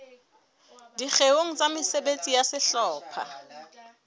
dikgeong tsa mesebetsi ya sehlopha